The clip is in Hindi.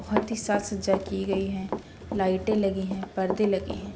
बहोत ही साक सज्जा की गई है। लाइटें लगी हैं परदे लगें हैं।